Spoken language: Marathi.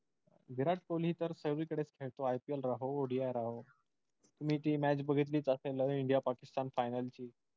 विराट कोहली तर सर्वीकडेच खेळतो ipl राहो odi राहो. तुम्ही ती match बघितलीच असल नव्हे इंडिया पाकिस्तान final ची